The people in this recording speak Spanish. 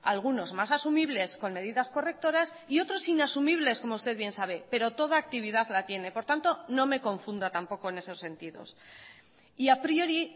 algunos más asumibles con medidas correctoras y otros inasumibles como usted bien sabe pero toda actividad la tiene por tanto no me confunda tampoco en esos sentidos y a priori